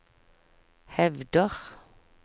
hevder